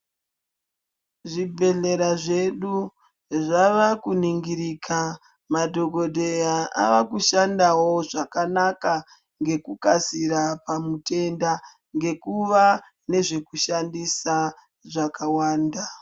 Zvibhehlera zvedu zvava kuningirika madhokodheya ava kushandawo zvakanaka ngekukasira pamutenda ngekuva nezvekushandisa zvakawanda.